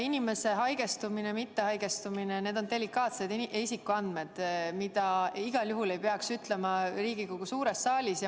Inimese haigestumist ja mittehaigestumist puudutavad andmed on delikaatsed isikuandmed, mida ei peaks välja ütlema Riigikogu suures saalis.